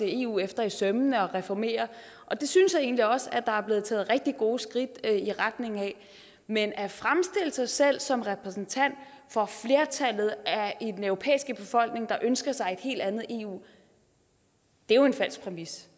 eu efter i sømmene og reformere det og det synes jeg egentlig også at der er blevet taget rigtig gode skridt i retning af men at fremstille sig selv som repræsentant for flertallet af den europæiske befolkning der ønsker sig et helt andet eu er jo en falsk præmis